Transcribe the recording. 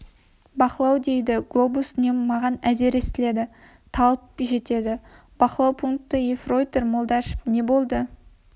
бақылау дейді глобус үні маған әзер естіледі талып жетеді бақылау пункті ефрейтор молдашев не болды